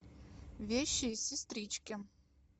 вещие сестрички